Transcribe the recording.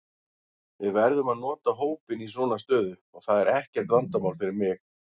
Við verðum að nota hópinn í svona stöðu og það er ekkert vandamál fyrir mig.